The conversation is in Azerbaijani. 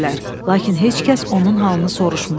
Lakin heç kəs onun halını soruşmurdu.